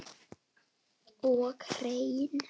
Og hreinn!